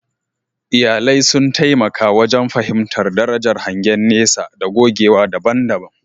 Iyalai sun taimaka wajen fahimtar darajar hangen nesa da gogewa daban-daban.